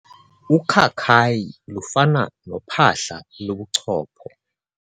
Ukhakayi lufana nophahla lobuchopho.